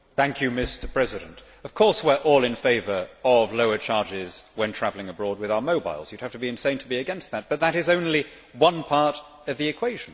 Mr President, of course we are all in favour of lower charges when travelling abroad with our mobiles you would have to be insane to be against that, but that is only one part of the equation.